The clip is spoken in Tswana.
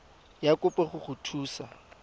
ya kopo go go thusa